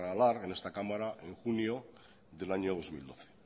aralar en esta cámara en junio del año dos mil doce